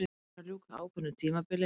Spánn er að ljúka ákveðnu tímabili.